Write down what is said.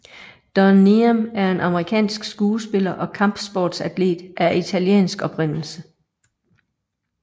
Don Niam er en amerikansk skuespiller og kampsports atlet af italiensk oprindelse